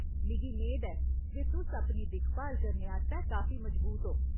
मिगी मेद ऐ जे तुस अपनी दिक्खभाल करने आस्तै काफी मजबूत ओ।